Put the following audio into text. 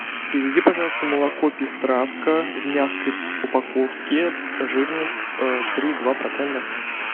привези пожалуйста молоко пестравка в мягкой упаковке жирность три и два процента